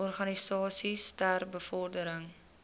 organisasies ter bevordering